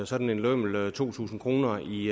sådan en lømmel to tusind kroner i